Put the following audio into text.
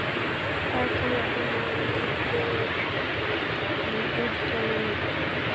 Hvað telur hann að mörg félög taki þátt í útboðinu?